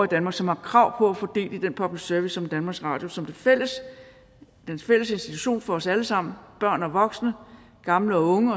danmark som har krav på at få del i den public service som danmarks radio som den fælles institution for os alle sammen børn og voksne gamle og unge